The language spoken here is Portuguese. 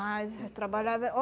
mas trabalhava eh